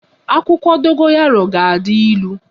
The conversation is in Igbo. Akwụkwọ dogoyaro ga-adi ịlụ